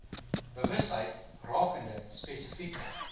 bewustheid rakende spesifieke